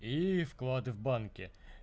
и вклад в банке